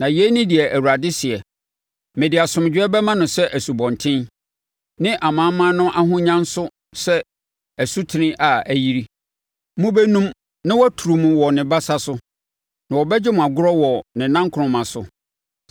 Na yei ne deɛ Awurade seɛ: “Mede asomdwoeɛ bɛma no sɛ asubɔnten, ne amanaman no ahonya nso sɛ asutene a ayiri. Mobɛnum na waturu mo wɔ ne basa so na ɔbɛgye mo agorɔ wɔ nʼanankoroma so.